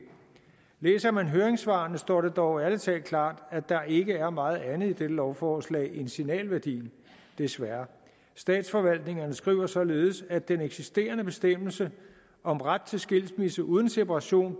læser man høringssvarene står det dog ærlig talt klart at der ikke er meget andet i dette lovforslag end signalværdien desværre statsforvaltningerne skriver således at den eksisterende bestemmelse om ret til skilsmisse uden separation